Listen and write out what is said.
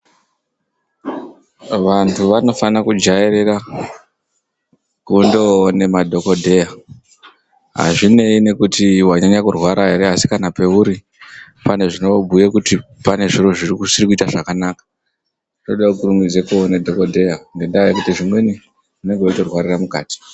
Vantu vanofano kujairira kundoone madhokodheya hazvineyi nekuti wanyanya kurwara here asi kana peuri pane zvinobhuye kuti pane zvinenge zvisikuita zvakanaka, zvoode kukurumidze kundoona dhokodheya ngendaa yekuti zvimweni unenge wechitorwarira mukati.